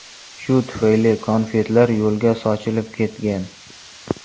Shu tufayli konfetlar yo‘lga sochilib ketgan.